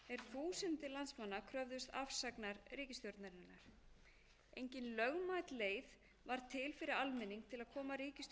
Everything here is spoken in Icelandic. alþingishúsið er þúsundir landsmanna kröfðust afsagnar ríkisstjórnarinnar engin lögmæt leið var til fyrir almenning til að koma ríkisstjórninni frá